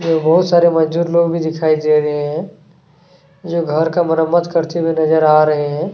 जो बहुत सारे मजदूर लोग भी दिखाई दे रहे हैं जो घर का मरम्मत करते हुए नज़र आ रहे हैं।